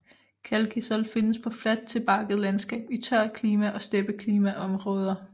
Calcisol findes på fladt til bakket landskab i tørt klima og steppeklima områder